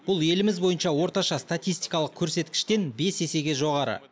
бұл еліміз бойынша орташа статистикалық көрсеткіштен бес есеге жоғары